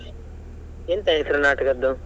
ಎಂತ ಹೆಸ್ರು ನಾಟಕದ್ದು?